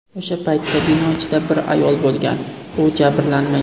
O‘sha paytda bino ichida bir ayol bo‘lgan, u jabrlanmagan.